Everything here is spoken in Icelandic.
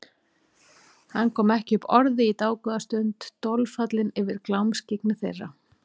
Hann kom ekki upp orði í dágóða stund, dolfallinn yfir glámskyggni þeirra.